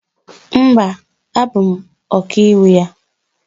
Mba, abụ m Ọkaiwu ya